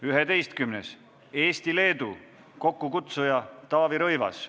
Üheteistkümnendaks, Eesti-Leedu, kokkukutsuja on Taavi Rõivas.